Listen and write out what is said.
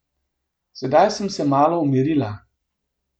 Sedaj sem se malo umirila.